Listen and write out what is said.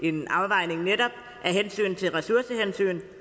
en afvejning netop af ressourcehensyn